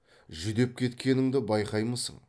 жүдеп кеткеніңді байқаймысың